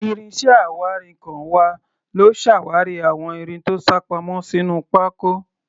Ìrìn iṣẹ́ awárinkàn wa ló ṣàwárí àwọn irin tó sápamọ́ sínú pákó.